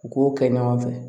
U k'o kɛ ɲɔgɔn fɛ